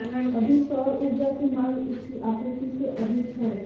अभी सौर ऊर्जा की मांग इसकी आपूर्ति से अधिक है